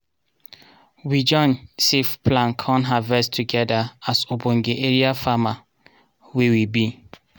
we join save plan con harvest togedir as obonge area farmer wey we be.